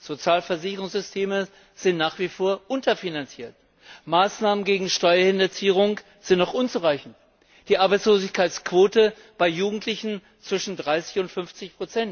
Sozialversicherungssysteme sind nach wie vor unterfinanziert, Maßnahmen gegen Steuerhinterziehung sind noch unzureichend, die Arbeitslosenquote bei Jugendlichen liegt zwischen 30 und 50.